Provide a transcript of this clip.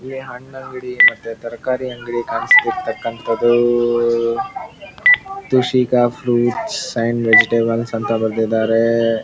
ಈ ಹಣ್ಣಂಗಡಿ ಮತ್ತೆ ತರಕಾರಿ ಅಂಗಡಿ ಕಾಣಿಸ್ತಿರತಕ್ಕಂತದು ತುಷಿಕ ಪ್ರುಟ್ಸ್ ಅಂಡ್ ವೆಜೆಟೇಬಲ್ಸ್ ಅಂತ ಬರೆದಿದ್ದಾರೆ.